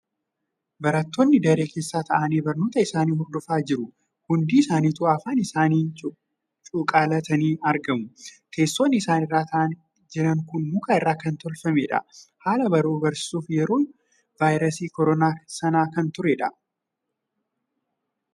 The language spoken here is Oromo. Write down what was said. Baratoonni daree keessa taa'anii barnoota isaanii hordofaa jiru. Hundi isaanituu afaan isaanii cuqqaallatanii argamu. Teessoo isaan irra taa'aa jiran muka irraa kan tolfameedha. Haala baruuf barsiisuu yeroo vaayirasii koronaa sana kan tureedha.